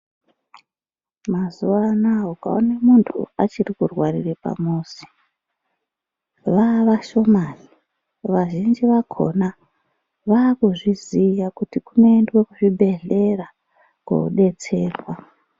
Mazuwa anaa ukaone muntu achiri kurwarire pamuzi, vaavashomani, vazhinji vakhona vaakuzviziya kuti kunoendwe kuzvibhedhlera koodetserwa.